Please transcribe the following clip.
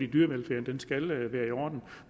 dyrevelfærden skal være i orden